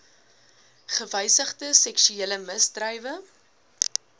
gewysigde seksuele misdrywe